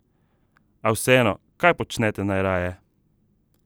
A vseeno, kaj počnete najraje?